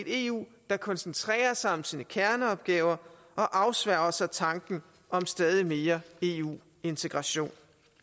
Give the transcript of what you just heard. eu der koncentrerer sig om sine kerneopgaver og afsværger tanken om stadig mere eu integration